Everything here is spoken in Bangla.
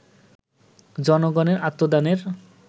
জনগণের আত্মদানের